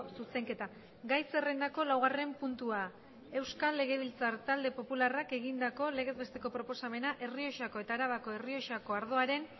zuzenketa gai zerrendako laugarren puntua euskal legebiltzar talde popularrak egindako legez besteko proposamena errioxako eta arabako errioxako ardoaren